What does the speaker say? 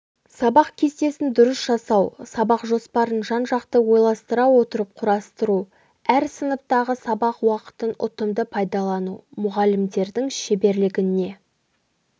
сабақ кестесін дұрыс жасау сабақ жоспарын жан-жақты ойластыра отырып құрастыру әр сыныптағы сабақ уақытын ұтымды пайдалану мұғалімнің шеберлігіне